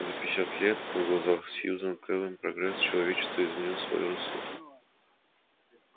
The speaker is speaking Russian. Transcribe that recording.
за пятьдесят лет на глазах сьюзен кэлвин прогресс человечества изменил своё русло